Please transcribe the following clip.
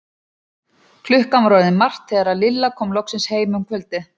Klukkan var orðin margt þegar Lilla kom loksins heim um kvöldið.